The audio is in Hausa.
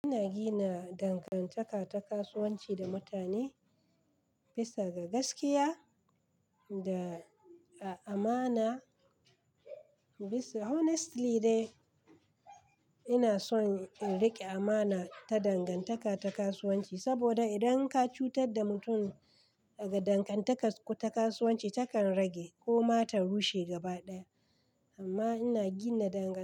Ina gina dangantaka ta kasuwanci da mutane bisa ga gaskiya da a amana. Honestly dai ina son in riƙe a'mana ta dangantaka ta kasuwanci saboda idan ka cutar da mutum daga dangantakan ku ta kasuwanci takan rage ko ma ta rushe gaba ɗaya amma ina gina dangan.